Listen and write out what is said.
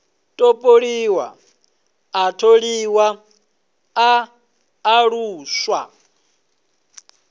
topoliwa a tholiwa a alusiwa